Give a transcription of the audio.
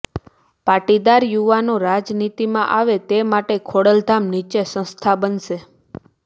પાટીદાર યુવાનો રાજનીતિમાં આવે તે માટે ખોડલધામ નીચે સંસ્થા બનશે